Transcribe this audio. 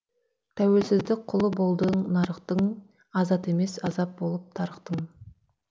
тәуелсіздік құлы болдың нарықтың азат емес азап болып тарықтың